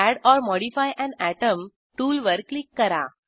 add or modify an atom tool वर click करा